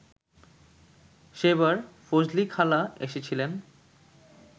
সেবার ফজলিখালা এসেছিলেন